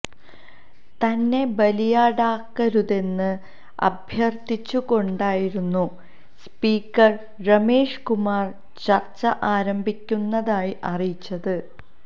തന്നെ ബലിയാടാക്കരുതെന്ന് അഭ്യര്ത്ഥിച്ചുകൊണ്ടായിരുന്നു സ്പീക്കര് രമേശ് കുമാര് ചര്ച്ച ആരംഭിക്കുന്നതായി അറിയിച്ചത്